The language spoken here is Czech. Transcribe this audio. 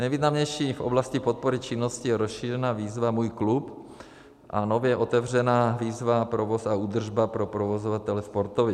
Nejvýznamnější v oblasti podpory činnosti je rozšířená výzva Můj klub a nově otevřená výzva Provoz a údržba pro provozovatele sportovišť.